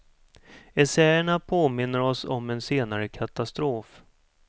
Essäerna påminner oss om en senare katastrof.